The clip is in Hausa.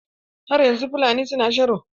Har yanzu Fulani suna sharo.